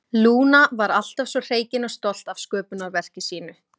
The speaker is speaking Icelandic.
Lúna var alltaf svo hreykin og stolt af sköpunarverki sínu.